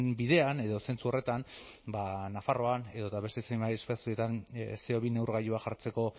bidean edo zentzu horretan ba nafarroan edo eta beste zenbait espaziotan ce o bi neurgailua jartzeko